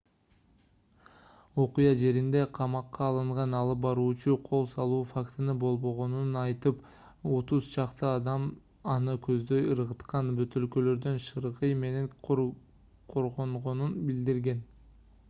окуя жеринде камакка алынган алып баруучу кол салуу фактысы болбогонун айтып отуз чакты адам аны көздөй ыргыткан бөтөлкөлөрдөн шыргый менен коргонгонун билдирген